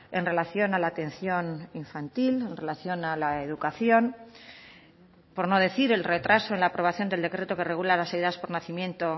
en relación a la atención infantil en relación a la educación por no decir el retraso en la aprobación del decreto que regula las ayudas por nacimiento